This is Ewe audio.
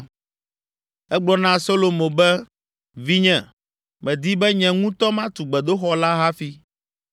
Egblɔ na Solomo be, “Vinye, medi be nye ŋutɔ matu gbedoxɔ la hafi,